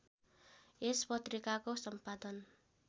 यस पत्रिकाको सम्पादन